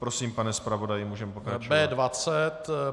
Prosím, pane zpravodaji, můžeme pokračovat.